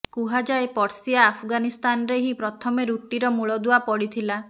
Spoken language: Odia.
କୁହାଯାଏ ପର୍ସିଆ ଆଫଗାନିସ୍ତାନରେ ହିଁ ପ୍ରଥମେ ରୁଟିର ମୂଳଦୁଆ ପଡ଼ିଥିଲା